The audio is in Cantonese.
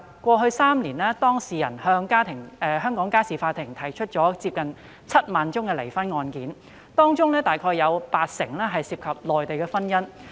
過去3年，當事人向香港家事法庭提出近7萬宗離婚案件，當中約八成涉及內地婚姻。